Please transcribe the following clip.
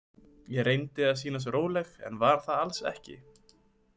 Ég reyndi að sýnast róleg en var það alls ekki.